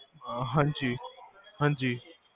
ਹਾਂਜੀ